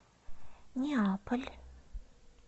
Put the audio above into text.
неаполь